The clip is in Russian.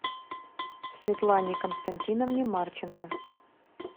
светлане константиновне марченко